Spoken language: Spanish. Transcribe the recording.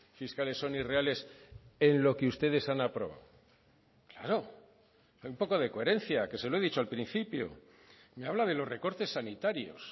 fiscales son irreales en lo que ustedes han aprobado claro un poco de coherencia que se lo he dicho al principio me habla de los recortes sanitarios